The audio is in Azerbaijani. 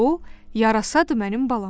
O yarasa mənim balam.